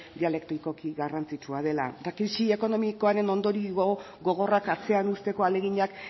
dialektikoki garrantzitsua dela eta krisi ekonomikoaren ondorio gogorrak atzean uzteko ahaleginak